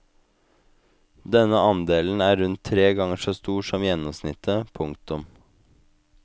Denne andelen er rundt tre ganger så stor som gjennomsnittet. punktum